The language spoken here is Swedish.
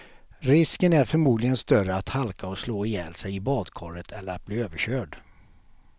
Risken är förmodligen större att halka och slå ihjäl sig i badkaret eller att bli överkörd.